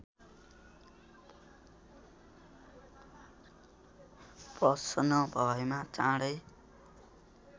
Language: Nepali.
प्रसन्न भएमा चाँडै